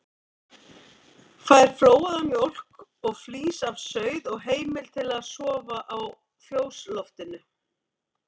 Fær flóaða mjólk og flís af sauð og heimild til að sofa á fjósloftinu.